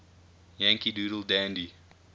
yankee doodle dandy